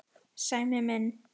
Sæmi minn.